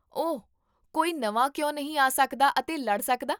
ਓਹ, ਕੋਈ ਨਵਾਂ ਕਿਉਂ ਨਹੀਂ ਆ ਸਕਦਾ ਅਤੇ ਲੜ ਸਕਦਾ?